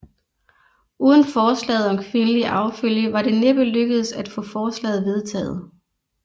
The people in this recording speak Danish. Uden forslaget om kvindelig arvefølge var det næppe lykkedes at få forslaget vedtaget